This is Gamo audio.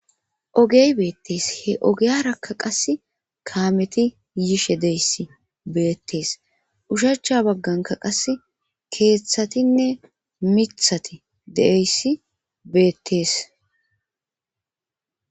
Ogey beettees he ogeyarakka qas kaameti yishe deyssi beettees ushacha bagganka qas keeththatinne mithati deeyssi beettees